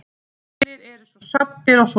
Allir svo saddir og svona.